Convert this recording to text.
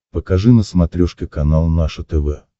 покажи на смотрешке канал наше тв